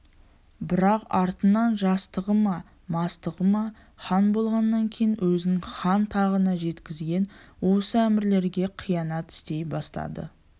бірақ артынан жастығы ма мастығы ма хан болғаннан кейін өзін хан тағына жеткізген осы әмірлерге қиянат істей бастады